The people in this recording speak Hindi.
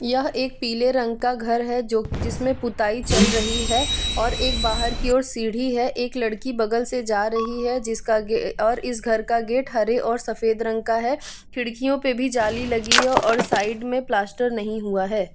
यह एक पीले रंग का घर है जो जिसमें पुताई चल रही है और एक बाहर की ओर सीडी है एक लड़की बगल से जा रही है जिसका और इस घर का गेट हरे और सफेद रंग का है। खिड़कियों पर भी जाली लगी और साइड में प्लास्टर नहीं हुआ है।